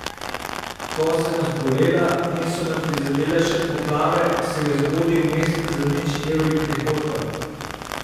Ko sem zbolela in so me prizadele še poplave, se je zgodil mesec z nič evri prihodka.